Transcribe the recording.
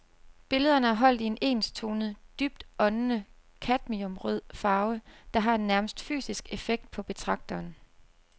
Billederne er holdt i en enstonet, dybt åndende cadmiumrød farve, der har en nærmest fysisk effekt på betragteren.